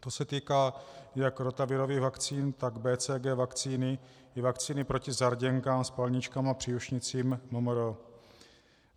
To se týká jak rotavirových vakcín, tak BCG vakcíny i vakcíny proti zarděnkám, spalničkám a příušnicím MMR.